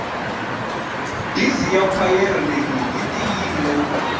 bizi ya khwayere leyi yi tiyile